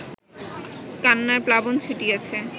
কান্নার প্লাবন ছুটিয়াছে